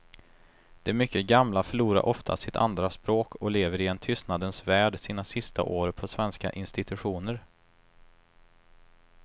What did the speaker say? De mycket gamla förlorar ofta sitt andra språk och lever i en tystnadens värld sina sista år på svenska institutioner.